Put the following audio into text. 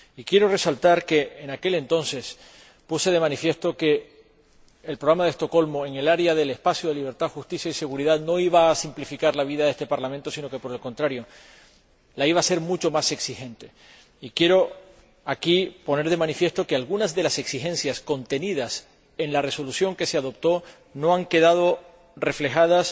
Y quiero resaltar que en aquel entonces puse de manifiesto que el Programa de Estocolmo, en el área del espacio de libertad, seguridad y justicia, no iba a simplificar la vida de este Parlamento, sino que, por el contrario, la iba a hacer mucho más exigente. Y quiero aquí poner de manifiesto que algunas de las exigencias contenidas en la Resolución que se adoptó no han quedado reflejadas